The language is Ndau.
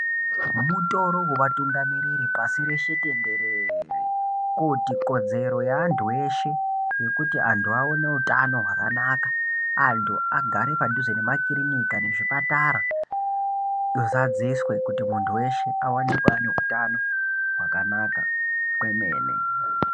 Mutoro wevatungamiriri pasi reshe tenderere, kuti kodzero yeantu eshe yekuti antu aone utano hwakanaka, antu agare padhuze nemakirinika nezvipatara huzadziswe kuti muntu weshe awanikwe ane utano hwakanaka kwemene.